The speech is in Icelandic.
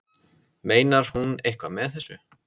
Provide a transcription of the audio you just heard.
Meinar hún eitthvað með þessu?